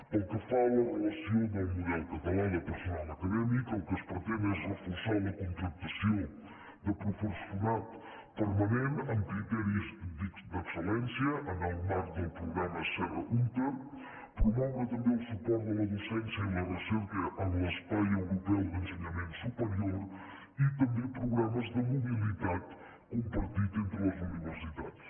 pel que fa a la relació del model català de personal acadèmic el que es pretén és reforçar la contractació de professorat permanent amb criteris d’excel·lència en el marc del programa serra húnter promoure tam·bé el suport de la docència i la recerca en l’espai eu·ropeu d’ensenyament superior i també programes de mobilitats compartits entre les universitats